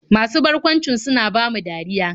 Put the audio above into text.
Masu barkwancin suna bamu dariya.